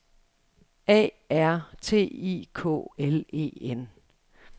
A R T I K L E N